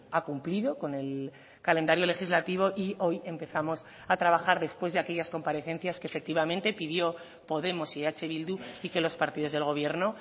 ha cumplido con el calendario legislativo y hoy empezamos a trabajar después de aquellas comparecencias que efectivamente pidió podemos y eh bildu y que los partidos del gobierno